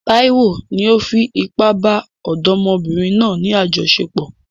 Taiwo ni ó fi ipá bá ọ̀dọ́mọbìnrin náà ní àjọṣepọ̀.